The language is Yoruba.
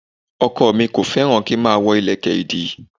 Ọkọ̀ mi ò fẹ́ràn kí n máa wọ ìlẹ̀kẹ̀ ìdí